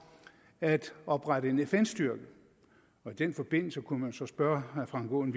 at oprette en fn styrke og i den forbindelse kunne man jo så spørge herre frank aaen